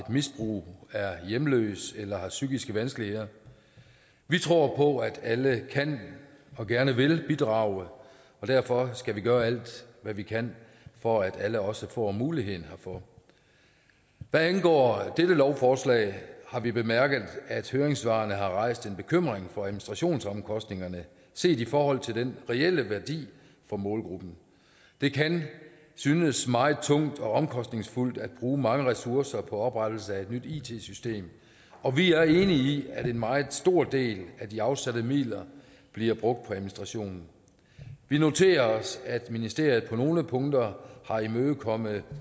misbrug er hjemløs eller har psykiske vanskeligheder vi tror på at alle kan og gerne vil bidrage og derfor skal vi gøre alt hvad vi kan for at alle også får mulighed herfor hvad angår dette lovforslag har vi bemærket at høringssvarene har rejst en bekymring for administrationsomkostningerne set i forhold til den reelle værdi for målgruppen det kan synes meget tungt og omkostningsfuldt at bruge mange ressourcer på oprettelse af et nyt it system og vi er enige i at en meget stor del af de afsatte midler bliver brugt på administration vi noterer os at ministeriet på nogle punkter har imødekommet